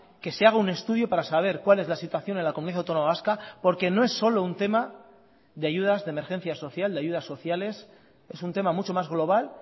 que se haga un estudio para saber cuál es la situación en la comunidad autónoma vasca porque no es solo un tema de ayudas de emergencia social de ayudas sociales es un tema mucho más global